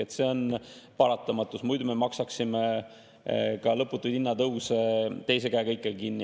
Ehk see on paratamatus, muidu me maksaksime lõputuid hinnatõuse teise käega ikka kinni.